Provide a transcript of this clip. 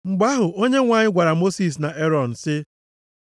Mgbe ahụ, Onyenwe anyị gwara Mosis na Erọn sị,